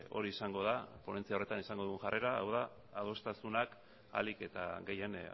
hori izango da ponentzia horretan izango dugun jarrera hau da adostasunak ahalik eta gehien